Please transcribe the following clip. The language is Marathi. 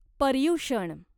पर्युषण